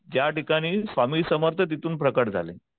ज्या ठिकाणी स्वामी समर्थ तिथून प्रकट झाले.